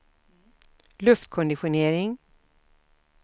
luftkonditionering